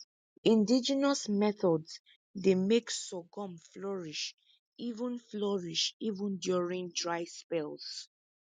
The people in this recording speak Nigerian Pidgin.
indigenous methods dey make sorghum flourish even flourish even during dry spells